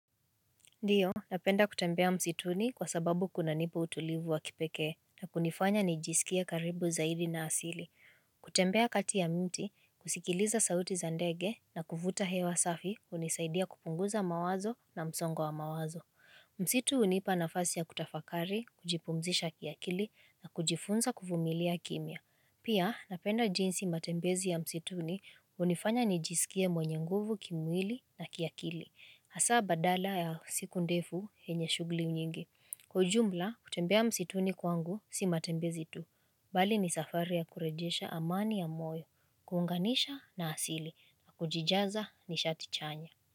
Ndio, napenda kutembea msituni kwa sababu kunanipa utulivu wa kipekee na kunifanya nijiskie karibu zaidi na asili. Kutembea kati ya miti, kusikiliza sauti za ndege na kuvuta hewa safi, unisaidia kupunguza mawazo na msongo wa mawazo. Msitu unipa nafasi ya kutafakari, kujipumzisha kiakili na kujifunza kuvumilia kimya. Pia, napenda jinsi matembezi ya msituni unifanya nijisikie mwenye nguvu kimwili na kiakili. Hasa badala ya siku ndefu yenye shughuli unyingi. Kwa ujumla, kutembea msituni kwangu, si matembezi tu. Bali ni safari ya kurejesha amani ya moyo, kuunganisha na asili, na kujijaza nishati chanya.